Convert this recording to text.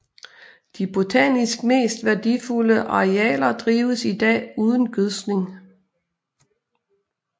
De botanisk mest værdifulde arealer drives i dag uden gødskning